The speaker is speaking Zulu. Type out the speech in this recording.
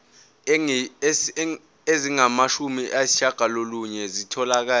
ezingamashumi ayishiyagalolunye zitholakele